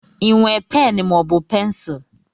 I nwe pen maọbụ pencul?